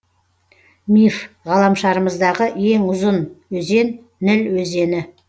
миф ғаламшарымыздағы ең ұзын өзен ніл өзені